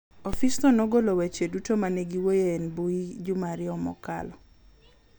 Ofisno nogolo weche duto ma ne giwuoye e mbui juma ariyo mokalo.